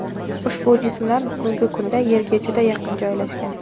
Ushbu jismlar bugungi kunda Yerga juda yaqin joylashgan.